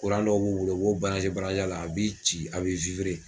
dɔw b'u bolo u b'o a la a b'i ci a